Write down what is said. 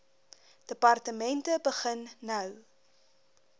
departemente begin nou